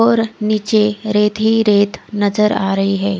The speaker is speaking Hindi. और निचे रेत ही रेत नजर आ रही है।